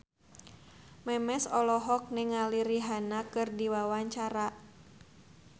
Memes olohok ningali Rihanna keur diwawancara